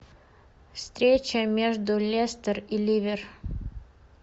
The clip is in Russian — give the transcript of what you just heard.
встреча между лестер и ливер